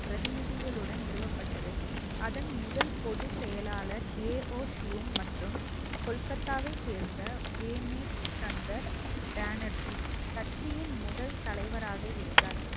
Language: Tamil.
பிரதிநிதிகளுடன் நிறுவப்பட்டது அதன் முதல் பொதுச் செயலாளர் ஏ ஓ ஷியும் மற்றும் கொல்கத்தாவைச் சேர்ந்த வேமேஷ் சந்தர் பேனர்ஜி கட்சியின் முதல் தலைவராக இருந்தார்